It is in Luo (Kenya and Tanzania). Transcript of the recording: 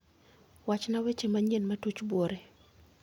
Wachna weche manyien motuch buore